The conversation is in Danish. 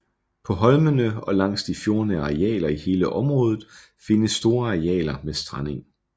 På holmene og langs de fjordnære arealer i hele området findes store arealer med strandeng